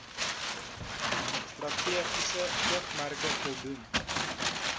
strategiese oogmerke voldoen